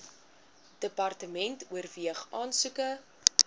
department oorweeg aansoeke